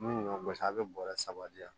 Min y'a gosi a bɛ bɔrɛ saba di yan